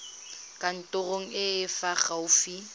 kantorong e e fa gaufi